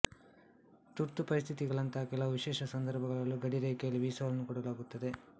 ತುರ್ತು ಪರಿಸ್ಥಿತಿಗಳಂತಹ ಕೆಲವು ವಿಶೇಷ ಸಂದರ್ಭಗಳಲ್ಲೂ ಗಡಿರೇಖೆಯಲ್ಲಿ ವೀಸಾವನ್ನು ಕೊಡಲಾಗುತ್ತದೆ